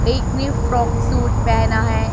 एक ने frock suit पहना है।